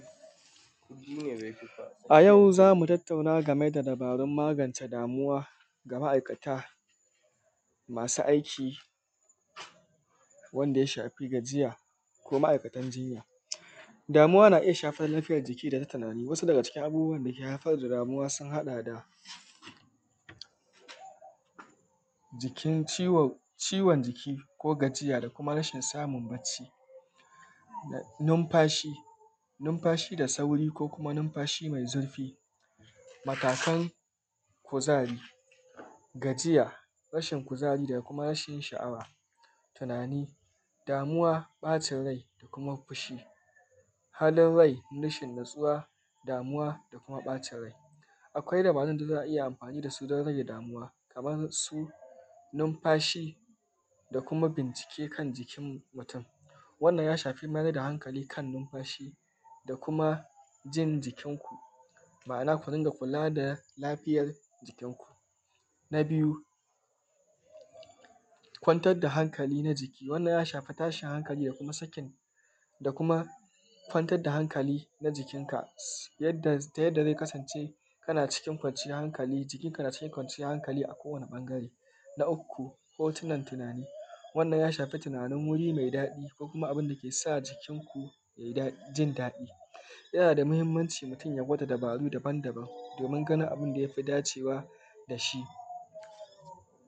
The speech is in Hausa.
A yau za mu tattauna game da dabarun magance damuwa ga ma'aikata masu aiki Wanda ya shafi gajiya ko ma'aikatan jinya. Damuwa na iya shafar lafiyar jiki da na tunani. Wasu abubuwa da ke haifar da damuwa sun haɗa da jiki cikin jiki ko gajiya da kuma rashin samun bacci numfashi, numfashi da sauri ko kuma numfashi mai zurfi. Matakan Ku, ari gajiya rashin kuzari ko rashin sha'awa, tunani ɓacin rai da kuma fushi. Halin rai rashin natsuwa, damuwa da kuma ɓacin rai. Akwai dabarun da za a iya amfani da su, don rage damuwa, kamar su numfashi da kuma bincike kan jikin mutum wannan ja shafi mai da hankali kan numfashi da kuma yin jikinku. Ma'ana kula da lafiyar jikinku. Na biju kwantar da hankali na jiki wannan ya ʃafi rashin hankali da kuma sakin da kuma kwantar da hankali na jiki nka yadda ta yadda zai kasance kana cikin kwanciyar hankali jikinka na cikin kwanciyar hankali a kowane ɓangare. Na uku hotunan tunani, wannan ya shafi tunani mai daɗi ko kuma a inda ke sa jikinku jin daɗi. Yana da muhimmanci mutum ya gwada dabarun daban daban domin ganin abin da ya fi dacewa da shi.